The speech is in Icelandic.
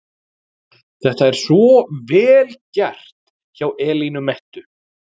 Þetta er svo VEL GERT hjá Elínu Mettu!